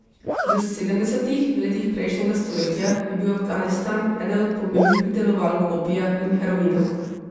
V sedemdesetih letih prejšnjega stoletja je bil Afganistan eden od pomembnih pridelovalk opija in heroina.